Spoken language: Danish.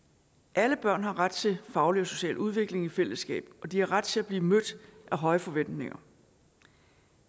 alle børn har ret til faglig og social udvikling i fællesskab og de har ret til at blive mødt af høje forventninger